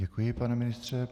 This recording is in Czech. Děkuji, pane ministře.